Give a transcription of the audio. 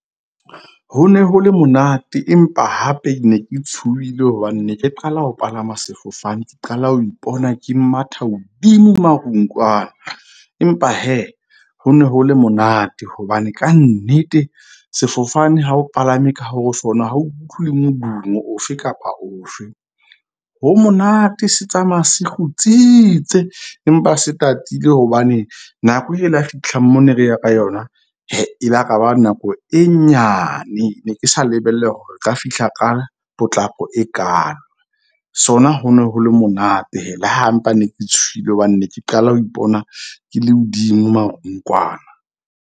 Ho ne ho le monate empa hape ne ke tshohile hobane ne ke qala ho palama sefofane. Ke qala ho ipona ke matha hodimo marung kwana. Empa ho ne ho le monate. Hobane kannete sefofane ha o palame ka ho sona. Ha o utlwile le modumo ofe kapa ofe. Ho monate se tsamaya se kgutsitse empa se tatile hobane nako e la fihla mo ne re ya ka yona e la kaba nako e nyane. Ne ke sa lebelle hore o ka fihla ka potlako e kaalo. Sona, ho no ho le monate le ha mpa ne ke tshohile. Hobane ne ke qala ho ipona ke le hodimo marung kwana.